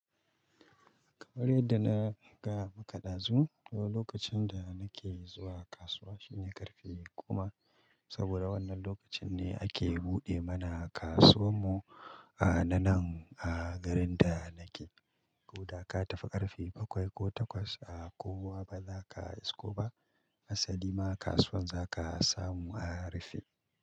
Kamar yadda na gaya maka ɗazu, lokacin da nake zuwa kasuwa shine ƙarfe goma, saboda wannan lokacin ne ake buɗe mana kasuwan mu a na nan a garin da nake. Ko da ka tafi ƙarfe bakwai ko takwas a kowa ba za ka isko ba. Asali ma kasuwar za ka samu a rufe.